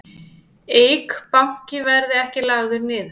Eik Banki verði ekki lagður niður